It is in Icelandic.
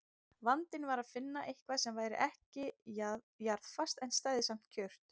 Vandinn var að finna eitthvað sem væri ekki jarðfast en stæði samt kjurt.